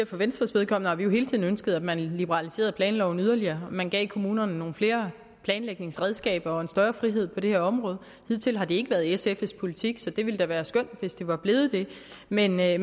for venstres vedkommende hele tiden har ønsket at man liberaliserede planloven yderligere at man gav kommunerne nogle flere planlægningsredskaber og en større frihed på det her område hidtil har det ikke være sfs politik så det ville da være skønt hvis det var blevet det men jeg